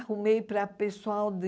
Arrumei para pessoal de...